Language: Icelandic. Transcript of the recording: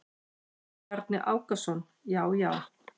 Bjarni Ákason: Já já.